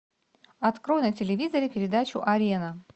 открой на телевизоре передачу арена